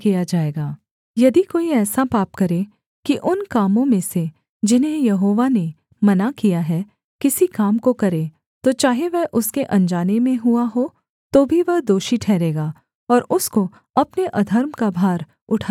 यदि कोई ऐसा पाप करे कि उन कामों में से जिन्हें यहोवा ने मना किया है किसी काम को करे तो चाहे वह उसके अनजाने में हुआ हो तो भी वह दोषी ठहरेगा और उसको अपने अधर्म का भार उठाना पड़ेगा